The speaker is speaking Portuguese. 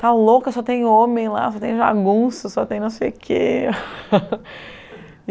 Está louca, só tem homem lá, só tem jagunço, só tem não sei o quê.